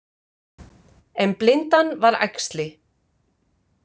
En blindan var æxli.